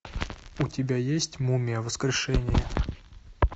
у тебя есть мумия воскрешение